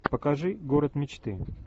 покажи город мечты